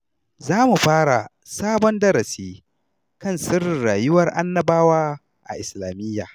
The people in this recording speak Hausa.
Za mu fara sabon darasi kan sirrin rayuwar Annabawa a Islamiyya.